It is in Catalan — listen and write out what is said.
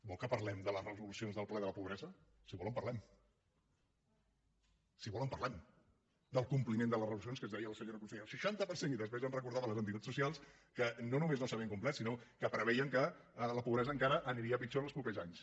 vol que parlem de les resolucions del ple de la pobresa si vol en parlem si vol en parlem del compliment de les resolucions que ens deia la senyora consellera el seixanta per cent i després ens recordaven les entitats socials que no només no s’havien complert sinó que preveien que la pobresa encara aniria pitjor en els propers anys